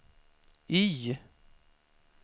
Y